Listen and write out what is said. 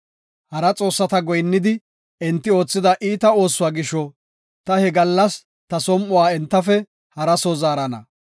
Hara xoossata goyinnidi, enti oothida iita oosuwa gisho, ta he gallas ta som7uwa entafe hara soo zaarana.